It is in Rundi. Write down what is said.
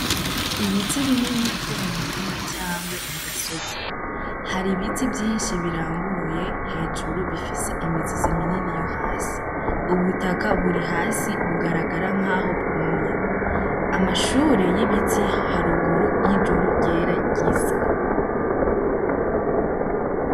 Ibiti binini vy'omumurima cangwa m'ugasozi hari ibiti vyishi biranguruye hejuru bifise imizi miniminini y'ohasi ubu butaka buri hasi bugaragara nkaho bw'umye, Amashure y'ibiti haruguru yijuru ryera ryisa.